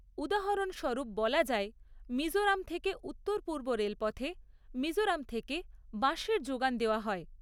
উদাহরণস্বরূপ বলা যায় মিজোরাম থেকে উত্তর পূর্ব রেলপথে মিজোরাম থেকে বাঁশের জোগান দেওয়া হয়।